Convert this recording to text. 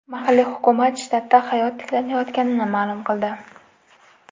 Mahalliy hukumat shtatda hayot tiklanayotganini ma’lum qildi.